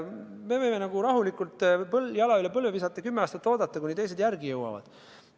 Me võime rahulikult jala üle põlve visata ja kümme aastat oodata, kuni teised järele jõuavad.